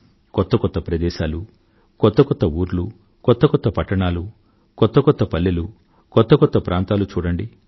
కొత్త కొత్త ప్రదేశాలూ కొత్త కొత్త ఊర్లు కొత్త కొత్త పట్టణాలు కొత్త కొత్త పల్లెలు కొత్త కొత్త ప్రాంతాలు చూడండి